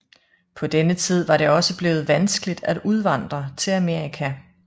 På denne tid var det også blevet vanskeligt at udvandre til Amerika